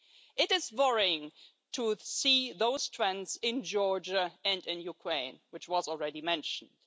It is worrying to see those trends in Georgia and in Ukraine, as already mentioned.